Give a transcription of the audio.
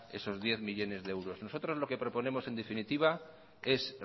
esos diez millónes de euros nosotros lo que proponemos en definitiva es